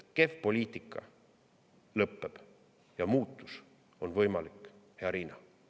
Kehv poliitika lõpeb ja muutus on võimalik, hea Riina.